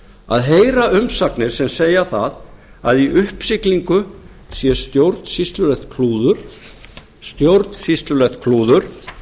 að heyra umsagnir sem segja það að í uppsiglingu sé stjórnsýslulegt klúður stjórnsýslulegt klúður